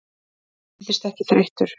Hann virðist ekki þreyttur.